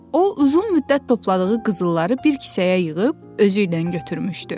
O uzun müddət topladığı qızılları bir kisəyə yığıb, özü ilə götürmüşdü.